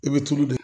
I bɛ tulu de